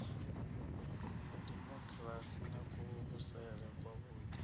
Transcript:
ya demokirasi na kuvhusele kwavhuḓi